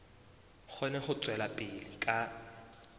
kgone ho tswela pele ka